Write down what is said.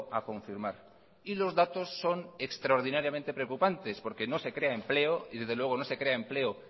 a confirmar y los datos son extraordinariamente preocupantes porque no se crea empleo y desde luego no se crea empleo